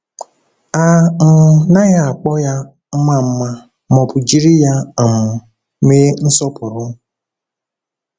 A um naghị akpọ ya mma mma ma ọ bụ jiri ya um mee nsọpụrụ.